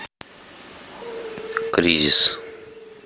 кризис